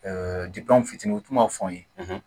n fitinin u tun ma fɔ n ye